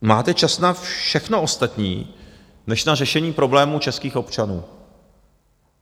máte čas na všechno ostatní než na řešení problémů českých občanů.